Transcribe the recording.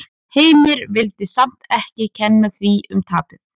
Heimir vill samt ekki kenna því um tapið.